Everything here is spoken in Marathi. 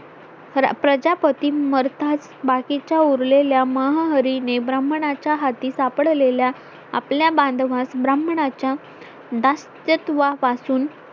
प्रजापती मरताच बाकीच्या उरलेल्या महाहरीने ब्राह्मणाच्या हाती सापडलेल्या आपल्या बांधवांस ब्राह्मणाच्या दास्यत्वापासून